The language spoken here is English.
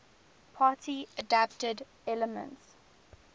party adapted elements